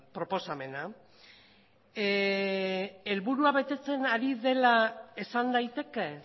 proposamena helburua betetzen ari dela esan daiteke